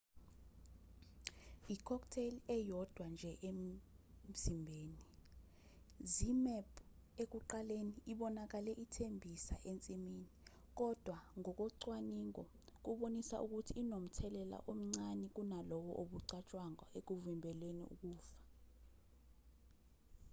i-cocktai eyodwa nje emzimbeni zmapp ekuqaleni ibonakale ithembisa ensimini kodwa ngokocwaningo kubonisa ukuthi inomthelela omncane kunalowo obucatshwangwa ekuvimbeleni ukufa